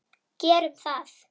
Gerum það!